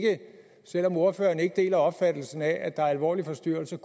selv om ordføreren ikke deler opfattelsen af at der er alvorlige forstyrrelser